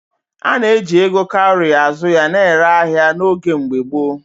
A na-eji ego kaurị azụ ya na-ere ahịa n’oge mgbe gboo.